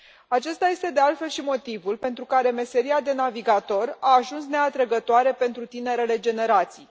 Acesta este de altfel și motivul pentru care meseria de navigator a ajuns neatrăgătoare pentru tinerele generații.